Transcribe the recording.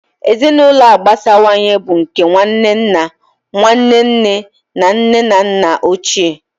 Ezinụlọ agbasawanye bụ nke nwanne nna, Nwanne nne na nne na nna ochie wdg.